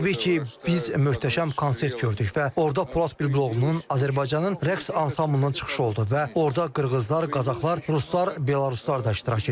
Təbii ki, biz möhtəşəm konsert gördük və orda Polad Bülbüloğlunun Azərbaycanın rəqs ansamblının çıxışı oldu və orda qırğızlar, qazaxlar, ruslar, belaruslar da iştirak etdi.